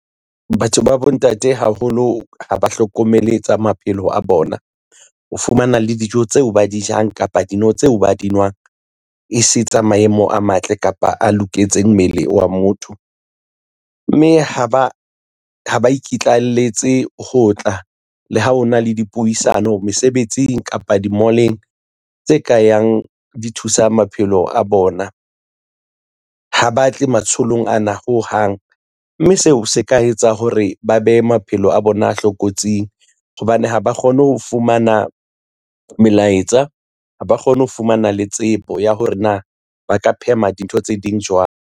Batho ba bontate haholo ha ba hlokomele tsa maphelo a bona. O fumana le dijo tseo ba di jang kapa dino tseo ba di nwang, e se tsa maemo a matle kapa a loketse mmele wa motho, mme ha ba ikitlaelletse ho tla le ha ho na le dipuisano mesebetsing, kapa di-mall-eng tse ka yang di thusa maphelo a bona. Ha ba tle matsholong ana hohang, mme seo se ka etsa hore ba behe maphelo a bona a hloka kotsing hobane ha ba kgone ho fumana melaetsa, ha ba kgone ho fumana le tsebo ya hore na ba ka phema dintho tse ding jwang.